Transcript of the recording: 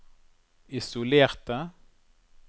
isolerte